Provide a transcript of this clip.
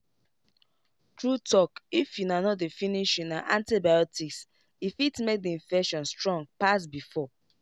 true talkif una no dey finish una antibiotics e fit make the infection strong pass before.